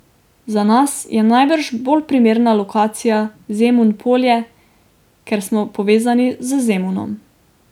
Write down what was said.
Za nas je najbrž bolj primerna lokacija Zemun Polje, ker smo povezani z Zemunom.